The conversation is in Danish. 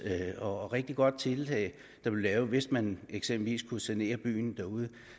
og rigtig godt tiltag hvis man eksempelvis kunne sanere byen